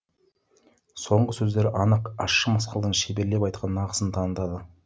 соңғы сөздері анық ащы мысқылдың шеберлеп айтқан нақысын танытты